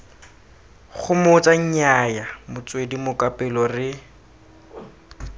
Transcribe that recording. gomotsa nnyaya motswedi mokapelo re